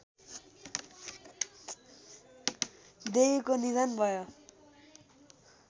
देवीको निधन भयो